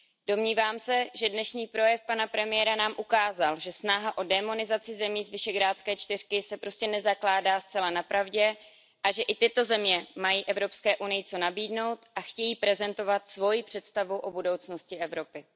Domnívám se, že dnešní projev pana premiéra nám ukázal, že snaha o démonizaci zemí z Visegrádské čtyřky se prostě nezakládá zcela na pravdě a že i tyto země mají Evropské unii co nabídnout a chtějí prezentovat svoji představu o budoucnosti Evropy.